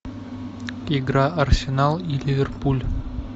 игра арсенал и ливерпуль